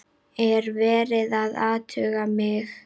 Er verið að athuga mig?